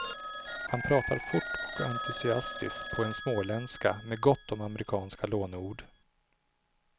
Han pratar fort och entusiastiskt på en småländska med gott om amerikanska lånord.